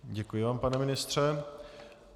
Děkuji vám, pane ministře.